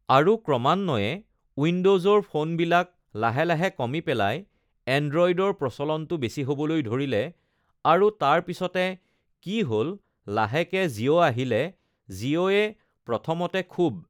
আৰু ক্ৰমান্বয়ে উইণ্ড'জৰ ফ'ন বিলাক লাহে লাহে কমি পেলাই এণ্ড্ৰ'ইডৰ প্ৰচলনটো বেছি হ'বলৈ ধৰিলে আৰু তাৰ পিছতে কি হ'ল লাহেকে জিঅ' আহিলে জিঅ'য়ে প্ৰথমতে খুব